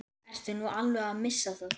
Ertu nú alveg að missa það?